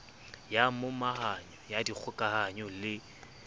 ya momahanyo ya dikgokahanyo le